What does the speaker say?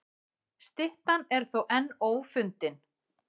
Styttan er þó enn ófundin.